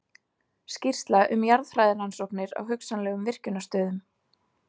Skýrsla um jarðfræðirannsóknir á hugsanlegum virkjunarstöðum.